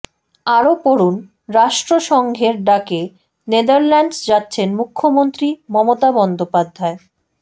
আরও পড়ুন রাষ্ট্রসংঘের ডাকে নেদারল্যান্ডস যাচ্ছেন মুখ্যমন্ত্রী মমতা বন্দ্যোপাধ্যায়